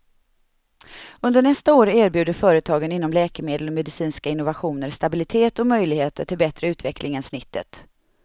Under nästa år erbjuder företagen inom läkemedel och medicinska innovationer stabilitet och möjligheter till bättre utveckling än snittet.